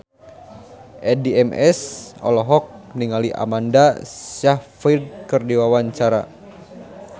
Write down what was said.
Addie MS olohok ningali Amanda Sayfried keur diwawancara